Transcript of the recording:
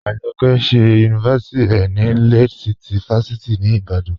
Ajọkẹ ṣẹ yunifásíti rẹ ni Lead City fásíti ni Ìbàdàn.